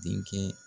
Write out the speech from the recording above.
Denkɛ